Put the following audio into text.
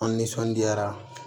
An nisɔndiyara